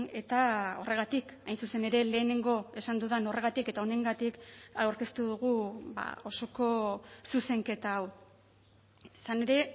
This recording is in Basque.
eta horregatik hain zuzen ere lehenengo esan dudan horregatik eta honengatik aurkeztu dugu osoko zuzenketa hau izan ere